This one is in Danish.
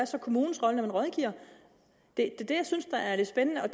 så kommunens rolle når den rådgiver det er det jeg synes er det spændende og